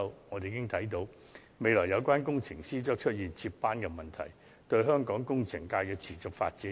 由此可見，這些工程師將在未來出現接班問題，即會損害香港工程界的持續發展。